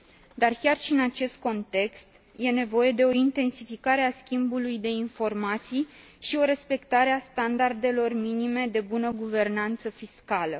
Dar, chiar și în acest context, e nevoie de o intensificare a schimbului de informații și de o respectare a standardelor minime de bună guvernanță fiscală.